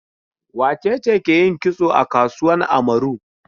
Wace ce ke yin kitso a kasuwan Amaru?